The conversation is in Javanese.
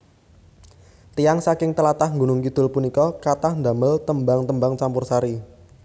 Tiyang saking tlatah Gunung Kidul punika kathah ndamel tembang tembang campursari